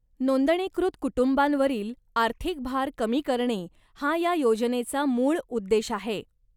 नोंदणीकृत कुटुंबांवरील आर्थिक भार कमी करणे हा या योजनेचा मूळ उद्देश आहे.